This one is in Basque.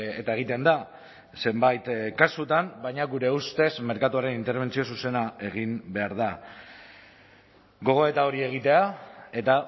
eta egiten da zenbait kasutan baina gure ustez merkatuaren interbentzio zuzena egin behar da gogoeta hori egitea eta